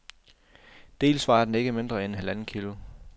Dels vejer den ikke mindre end halvandet kilo.